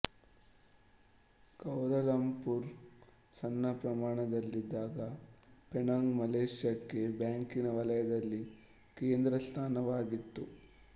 Kuala Lumpur ಸಣ್ಣ ಪ್ರಮಾಣದಲ್ಲಿದ್ದಾಗ Penang ಮಲೆಷ್ಯಾಕ್ಕೆ ಬ್ಯಾಂಕಿನ ವಲಯದಲ್ಲಿ ಕೇಂದ್ರಸ್ಥಾನವಾಗಿತ್ತು